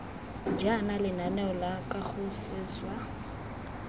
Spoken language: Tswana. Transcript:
jaana lenaneo la kago seswa